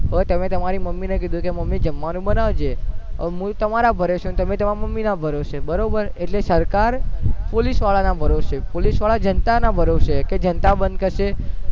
હવે તમે તમારી મમ્મી ને ક્યુ કે મમ્મી જમવાનું બનાવજે હવે હું તમારા ભરોસે તમે તમારા મમ્મી ના ભરોસે બરોબર એટલેસરકાર પોલીસ વારા ભરોસે પોલીસ વારા જનતા ના ભરોસે કે જનતા બંધ કરશે